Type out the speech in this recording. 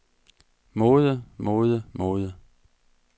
måde måde måde